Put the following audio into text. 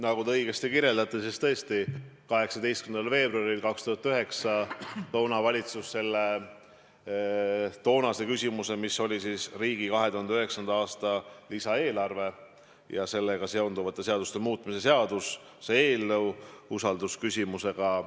Nagu te õigesti ütlesite, tõesti 18. veebruaril 2009 sidus valitsus eelnõu, mis käsitles riigi 2009. aasta lisaeelarvet ja sellega seonduvate seaduste muutmist, usaldusküsimusega.